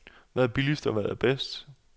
Hvad er billigst, og hvad er bedst?